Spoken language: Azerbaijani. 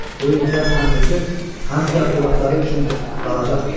Bu imtiyaz həm özü, həm də övladları üçün qalacaqdır.